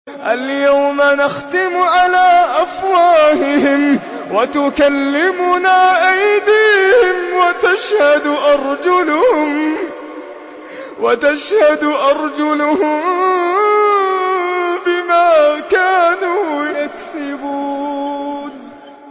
الْيَوْمَ نَخْتِمُ عَلَىٰ أَفْوَاهِهِمْ وَتُكَلِّمُنَا أَيْدِيهِمْ وَتَشْهَدُ أَرْجُلُهُم بِمَا كَانُوا يَكْسِبُونَ